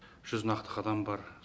жүз нақты қадам бар